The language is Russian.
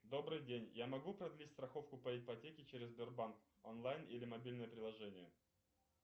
добрый день я могу продлить страховку по ипотеке через сбербанк онлайн или мобильное приложение